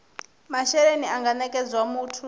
mashelelni a nga nekedzwa muthu